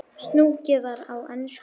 Sungið var á ensku.